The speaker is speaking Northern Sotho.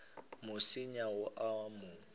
mo senya o a mo